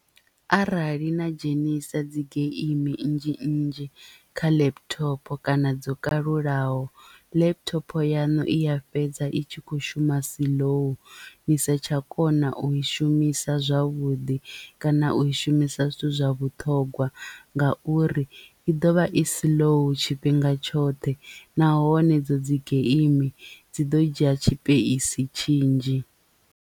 Arali na dzhenisa dzi geimi nnzhi nnzhi kha laptop kana dzo kalulaho laptop yaṋu i ya fhedza i tshi kho shuma siḽou ni sa tsha kona u i shumisa zwavhuḓi kana u i shumisa zwithu zwa vhuṱhogwa ngauri i ḓovha i slow tshifhinga tshoṱhe nahone idzo dzi geimi dzi ḓo dzhia tshipeisi tshinzhi.